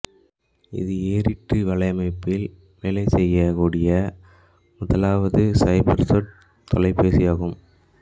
இது ஏற்றிற்றி வலை அமைப்பில் வேலைசெய்யகூடிய முதலாவது சைபர்சொட் தொலைபேசியாகும்